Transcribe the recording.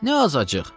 Nə azacıq.